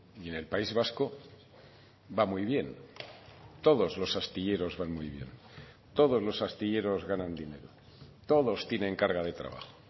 y en el país vasco va muy bien todos los astilleros van muy bien todos los astilleros ganan dinero todos tienen carga de trabajo